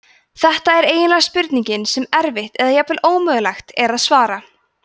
þetta er eiginlega spurning sem erfitt eða jafnvel ómögulegt er að svara